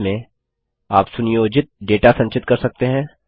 base में आप सुनियोजित डेटा संचित कर सकते हैं